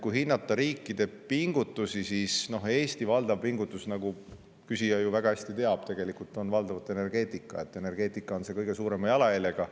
Kui hinnata riikide pingutusi, siis Eesti valdav pingutus, nagu küsija ju väga hästi teab tegelikult, on valdavalt energeetikas, mis on kõige suurema jalajäljega.